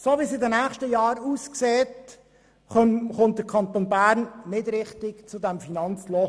So wie es für die nächsten Jahre aussieht, findet der Kanton Bern nicht wirklich einen Ausweg aus diesem Finanzloch.